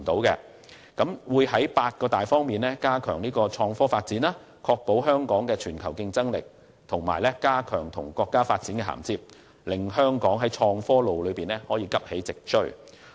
政府會在八大方面加強創科發展，確保維持香港的全球競爭力，並加強與國家發展的銜接，令香港在創科路上急起直追。